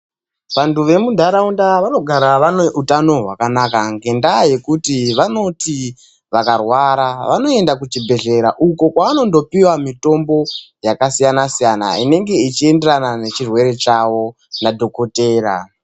Vantu vemuntaraunda vanogara vane utano hwakanaka ngendaa yekuti vanoti vakarwara, vanoenda kuchibhedhlera uko kwavanondopiwa mitombo yakasiyana siyana, inenge ichienderana nechirwere chavo nadhokodheya.